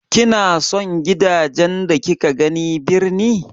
Kina son gidajen da kika gani birni.